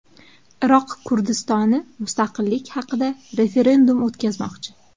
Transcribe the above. Iroq Kurdistoni mustaqillik haqida referendum o‘tkazmoqchi.